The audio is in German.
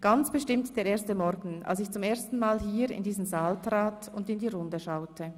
Ganz bestimmt der erste Morgen, als ich zum ersten Mal hier in diesen Saal trat und in die Runde schaute.